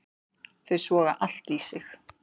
Þau soga allt í sig.